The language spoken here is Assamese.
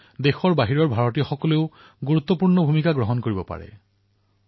সেইবাবে ভাৰতত উৎসৱ পৰ্যটন বৃদ্ধিৰ বাবে প্ৰবাসী ভাৰতীয়সকলৰ ভূমিকা অতিশয় গুৰুত্বপূৰ্ণ